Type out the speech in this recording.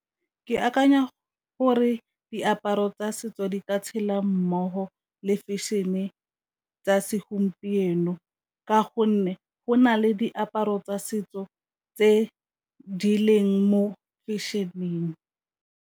Ke akanya gore diaparo tsa setso di ka tshela mmogo le fashion-e tsa segompieno, ka gonne go na le diaparo tsa setso tse di leng mo fashion-eng.